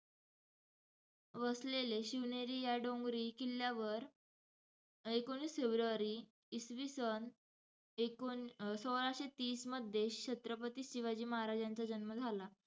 वसलेल्या शिवनेरी या डोंगरी किल्ल्यावर एकोणीस फेब्रुवारी इसवीसन ऐकोन~ सोळाशे तीस मध्ये छत्रपती शिवाजी महाराजांचा जन्म झाला.